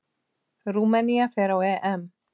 Rúmenía fer á EM.